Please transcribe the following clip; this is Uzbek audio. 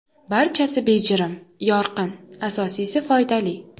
Barchasi bejirim, yorqin, asosiysi foydali.